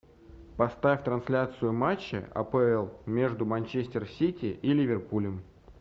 поставь трансляцию матча апл между манчестер сити и ливерпулем